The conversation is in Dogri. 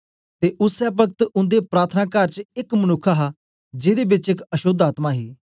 ते उसै पक्त उन्दे प्रार्थनाकार च एक मनुक्ख हा जेदे बेच एक अशोद्ध आत्मा ही